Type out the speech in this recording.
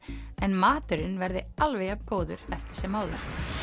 en maturinn verði alveg jafn góður eftir sem áður